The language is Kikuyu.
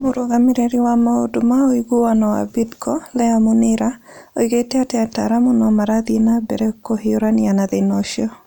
Mũrũgamĩrĩri wa maũndũ ma ũiguano wa Bidco, Leah Munira, oigĩte atĩ ataaramu no marathiĩ na mbere kũhiũrania na thĩna ũcio.